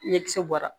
Ɲɛkisɛ bɔra